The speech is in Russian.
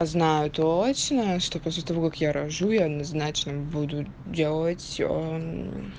знаю точно что после того как я рожу я назначенным буду делать